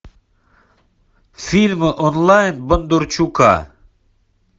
фильм онлайн бондарчука